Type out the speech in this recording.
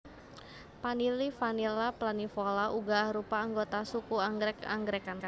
Panili Vanilla planifolia uga arupa anggota suku anggrèk anggrèkan